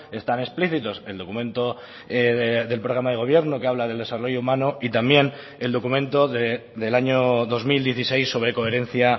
están explícitos el documento del programa de gobierno que habla del desarrollo humano y también el documento del año dos mil dieciséis sobre coherencia